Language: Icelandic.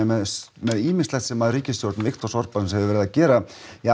með ýmislegt sem ríkisstjórn Viktors Orbans hefur verið að gera